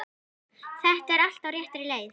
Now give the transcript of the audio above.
Þetta er allt á réttri leið.